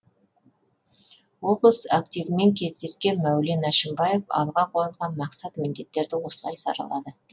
облыс активімен кездескен мәулен әшімбаев алға қойылған мақсат міндеттерді осылай саралады